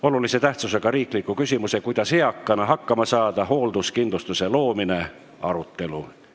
Olulise tähtsusega riikliku küsimuse "Kuidas eakana hakkama saada – hoolduskindlustuse loomine?" arutelu.